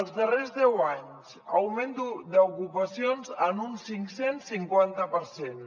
els darrers deu anys augment d’ocupacions en un cinccents cinquanta per cent